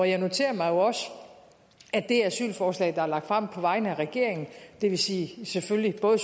jeg noterede mig jo også at det asylforslag der blev lagt frem på vegne af regeringen det vil sige selvfølgelig både